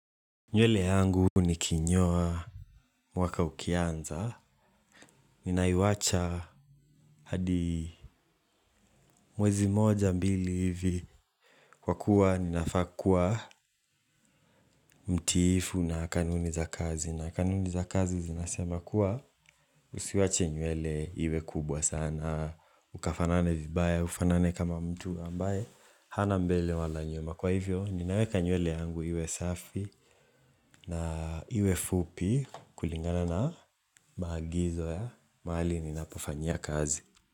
Nywele yangu nikinyoa mwaka ukianza. Ninaiwacha hadi mwezi moja mbili hivi. Kwa kuwa ninafaa kuwa mtiifu na kanuni za kazi. Na kanuni za kazi zinasema kuwa usiwache nywele iwe kubwa sana. Ukafanane vibaya, ufanane kama mtu ambaye. Hana mbele wala nyuma. Kwa hivyo, ninaweka nywele yangu iwe safi na iwe fupi kulingana na maagizo ya. Mahali ninapofanyia kazi.